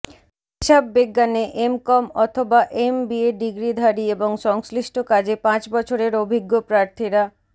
হিসাববিজ্ঞানে MCom অথবা MBA ডিগ্রিধারী এবং সংশ্লিষ্ট কাজে পাঁচ বছরের অভিজ্ঞ প্রার্থীরা